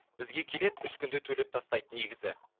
бізге келеді үш күнде төлеп тастайды негізі